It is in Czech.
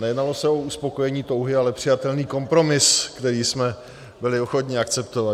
Nejednalo se o uspokojení touhy, ale přijatelný kompromis, který jsme byli ochotni akceptovat.